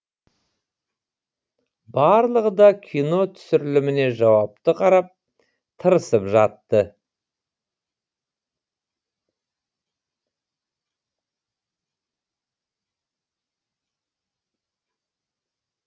барлығы да кино түсіріліміне жауапты қарап тырысып жатты